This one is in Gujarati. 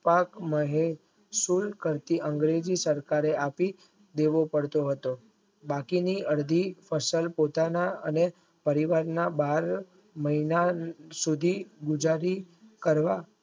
પાક મળે છે કરતી આંગળી સરકારે આપી દેવો પડતો હાટ બાકીની અડધી ફસલ ખેતરને અને પરીરગના બાર મહિના સુધી બીજાદિ કર્યા